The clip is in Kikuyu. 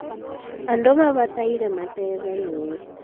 andũ mabataire mateithanie